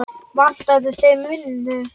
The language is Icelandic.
Vantaði þeim vinnu?